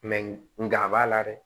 nga a b'a la dɛ